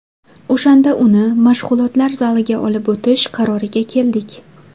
O‘shanda uni mashg‘ulotlar zaliga olib o‘tish qaroriga keldik.